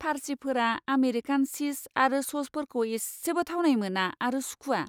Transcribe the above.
फारसिफोरा American चीज आरो स'सफोरखौ इसेबो थावनाय मोना आरो सुखुवा।